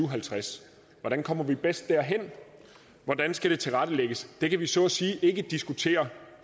og halvtreds hvordan kommer vi bedst derhen hvordan skal det tilrettelægges det kan vi så at sige ikke diskutere